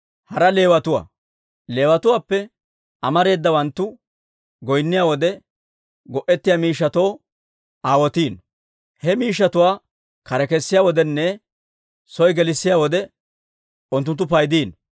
Leewatuwaappe amareedawanttu goynniyaa wode go'ettiyaa miishshatoo aawotiino; he miishshatuwaa kare kessiyaa wodenne soo gelissiyaa wode unttunttu paydiino.